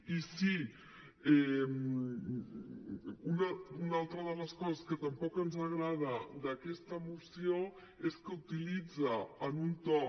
i sí una altra de les coses que tampoc ens agrada d’aquesta moció és que utilitza en un to